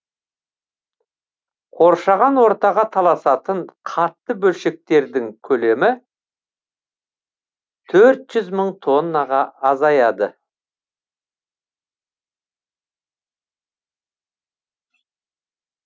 қоршаған ортаға тасталатын қатты бөлшектердің көлемі төрт жүз мың тоннаға азаяды